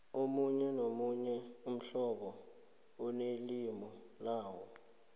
omunye nomunye umhlobo unelimu lawo